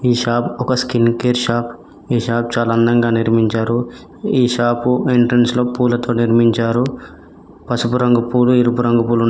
ఈ షాప్ ఒక skin care shop చాల అందంగా నిర్మించారు ఈ షాపు ఎంట్రెన్స్లో పూలతో నిర్మించారు పసుపు రంగు పూలు ఎరుపు రంగు పూల్ --